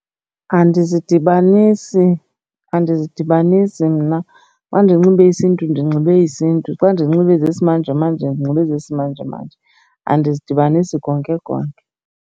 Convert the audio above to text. Andizidibanisi, andizidibanisi mna. Xa ndinxibe isiNtu ndinxibe isiNtu. Xa ndinxibe ezesimanjemanje, ndinxibe ezesimanjemanje andizidibanisi konke konke.